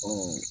Ɔ